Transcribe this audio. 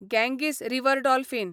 Ganges river dolphin